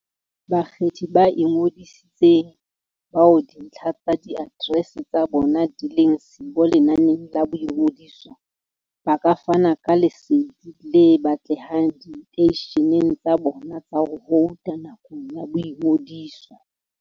Bakgethi ba ingodisitseng, bao dintlha tsa diaterese tsa bona di leng siyo lenaneng la boingodiso, ba ka fana ka lesedi le batlehang diteisheneng tsa bona tsa ho vouta nakong ya boingodiso.